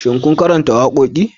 Shin kun karanta wakoki?